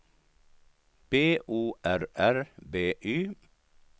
B O R R B Y